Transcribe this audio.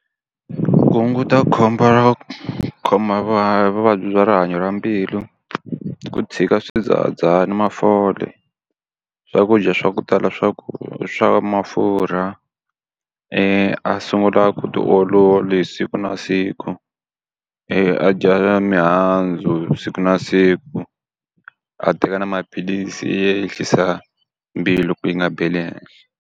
Ku hunguta khombo ra ku khoma hi vuvabyi bya rihanyo ra mbilu, i ku tshika swidzahadzahani mafole, swakudya swa ku tala swa ku swa mafurha, a sungula vutiolori siku na siku, a dya na mihandzu hi siku na siku, a teka na maphilisi yo ehlisa mbilu ku yi nga beli henhla.